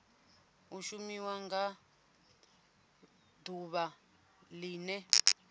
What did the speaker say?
i shumiwa nga ḓuvha ḽene